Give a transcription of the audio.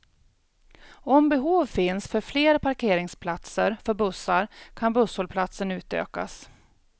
Om behov finns för fler parkeringspaltser för bussar kan busshållplatsen utökas.